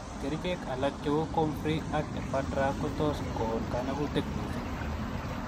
Kerchek alak che u comfrey ak ephedra ko tos kon kanakut mising.